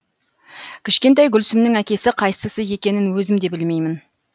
кішкентай гүлсімнің әкесі қайсысы екенін өзім де білмеймін